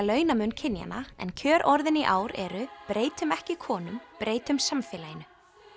launamun kynjanna en kjörorðin í ár eru breytum ekki konum breytum samfélaginu